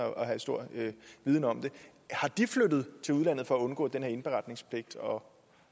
have stor viden om det er flyttet til udlandet for at undgå den her indberetningspligt og